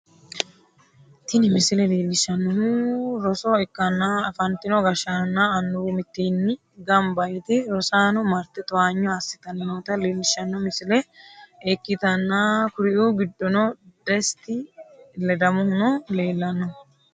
Tini misile leellishshannohu roso ikkanna, afantino gashshaanonna annuwi mittimmatenni gamba yite rosaano marte towaanyo assitanni noota leellishshanno misile ikkitanna, kuriu giddoonnino desita ledamohuno leellanno.